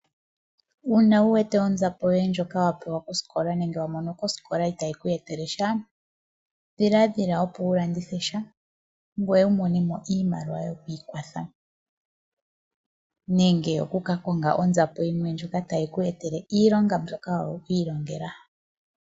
Uuna wu wete onzapo yoye ndjoka wa pewa kosikola nenge wa mono kosikola itaayi ku etele sha, dhiladhila opo wu landithe sha ngweye wu mone mo iimaliwa yoku ikwatha, nenge oku ka konga onzapo yimwe ndjoka tayi ku etele iilonga mbyoka wi ilongela.